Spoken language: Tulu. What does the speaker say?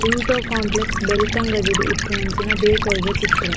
ಪಿಂಟೋ ಕೋಂಪ್ಲೆಕ್ಸ್ ಬೆಲ್ತಂಗಡಿಡ್ ಇಪ್ಪುನಂಚಿನ ಬೇಕರಿ ದ ಚಿತ್ರ.